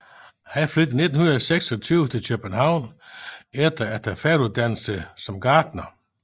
Han flyttede i 1926 til København efter at have færdiguddannet sig som gartner